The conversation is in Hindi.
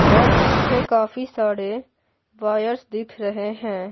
और पीछे काफी सारे वायर्स दिख रहे हैं।